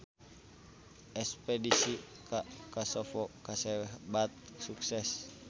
Espedisi ka Kosovo kasebat sukses